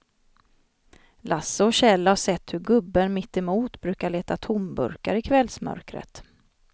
Lasse och Kjell har sett hur gubben mittemot brukar leta tomburkar i kvällsmörkret.